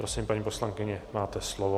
Prosím, paní poslankyně, máte slovo.